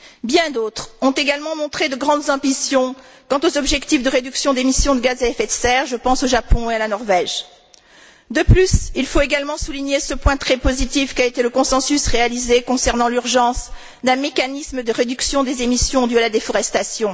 Bien d'autres ont également montré de grandes ambitions quant aux objectifs de réduction d'émissions de gaz à effet de serre. Je pense au Japon et à la Norvège. De plus, il faut également souligner ce point très positif qu'a été le consensus réalisé, concernant l'urgence d'un mécanisme de réduction des émissions dues à la déforestation.